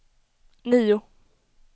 nio